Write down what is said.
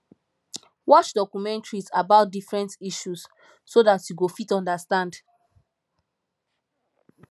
watch documentaries about different issues so dat you go fit understand